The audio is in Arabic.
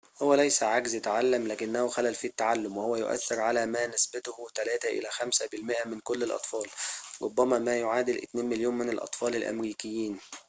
هو ليس عجز تعلم لكنه خلل في التعلم وهو يؤثر على ما نسبته 3 إلى 5 بالمائة من كل الأطفال ربما ما يعادل 2 مليون من الأطفال الأمريكيين